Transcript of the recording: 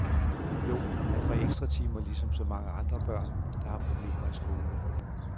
Jo, han får ekstra timer ligesom så mange andre børn, der har problemer i skolen.